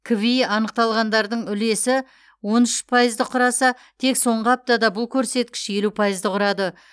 кви анықталғандардың үлесі он үш пайызды құраса тек соңғы аптада бұл көрсеткіш елу пайызды құрады